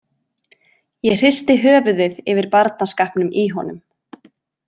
Ég hristi höfuðið yfir barnaskapnum í honum.